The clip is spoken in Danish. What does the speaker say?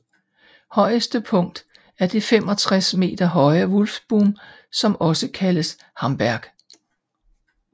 Højeste punkt er det 65 meter høje Wulffsboom som også kaldes Hamberg